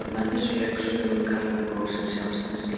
Með þessu lauk sögu Karþagó sem sjálfstæðs ríkis.